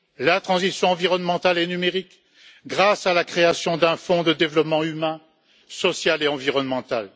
la transition environnementale et numérique grâce à la création d'un fonds de développement humain, social et environnemental.